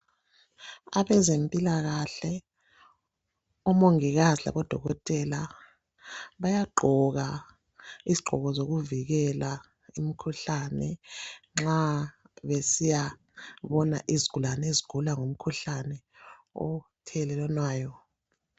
Abezempilakahle, omongikazi labodokotela bayagqoka izigqoko zokuvikela umkhuhlane nxa besiyabona izigulane ezigula ngomkhuhlane othelelwanayo.